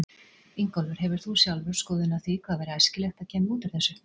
Ingólfur: Hefur þú sjálfur skoðun á því hvað væri æskilegt að kæmi út úr þessu?